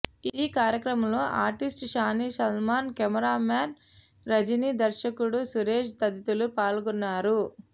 ఈ కార్యక్రమం లో artist Shani Solomon cameraman Rajini దర్శకుడు సురేష్ తదితరులు పాల్గొన్నారు